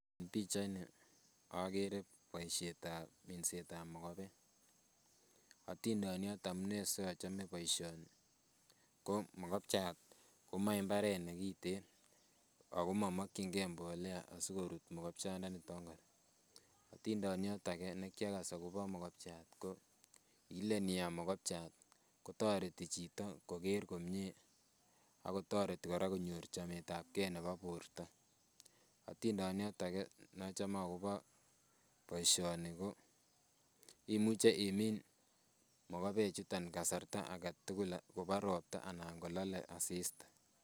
Pichaini akere boisietab minsetab mokobek, atindoniot amune si achome boisioni ko mokobchat komoche mbaret ne kiten, ako momokyinkei mbolea asi korut mokobchandanito. Atindoniot ake ne kiakas akobo mokobchat ko, ilen iam mokobchat kotoreti chito koker komie ak kotoreti kora konyor chametabgei nebo borta, atindoniot ake ne achame akobo boisioni ko, imuche imin mokobechuto kasarta ake tugul ko ka ropta anan ko kalale asista.